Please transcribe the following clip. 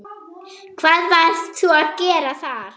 Hvað varst þú að gera þar?